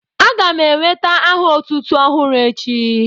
A ga m enwèta aha otútú ọhụrụ echi